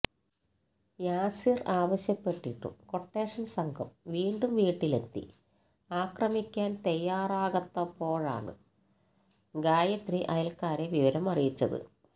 യാസിർ ആവശ്യപ്പെട്ടിട്ടും ക്വട്ടേഷൻ സംഘം വീണ്ടും വീട്ടിലെത്തി ആക്രമിക്കാൻ തയ്യാറാകാത്തപ്പോഴാണ് ഗായത്രി അയൽക്കാരെ വിവരം അറിയിച്ചത്